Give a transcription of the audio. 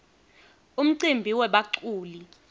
umcimbi webaculi